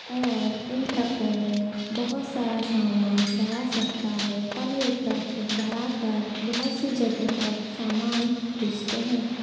और इन ट्रकों में बहुत सारा सामान भरा सकता है और ये ट्रक भरा कर बहुत सी जगह पर सामान भेजते है।